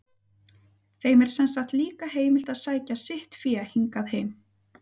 Þeim er sem sagt líka heimilt að sækja sitt fé hingað heim.